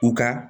U ka